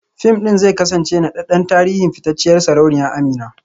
Fim ɗin zai kasance naɗaɗɗen tarihin fitacciyar sarauniya Amina